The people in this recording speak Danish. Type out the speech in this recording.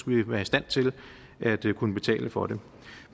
vil være i stand til at kunne betale for det